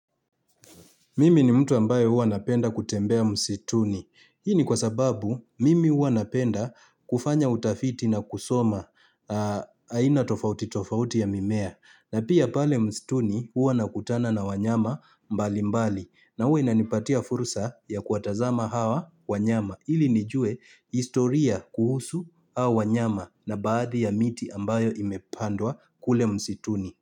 Mimi ni mtu ambaye huwa napenda kutembea msituni. Hii ni kwa sababu mimi huwa napenda kufanya utafiti na kusoma aina tofauti tofauti ya mimea. Na pia pale msituni hua nakutana na wanyama mbali mbali. Na huwa inanipatia fursa ya kuwatazama hawa wanyama. Ili nijue historia kuhusu hao wanyama na baadhi ya miti ambayo imepandwa kule msituni.